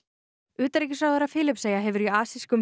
utanríkisráðherra Filippseyja hefur í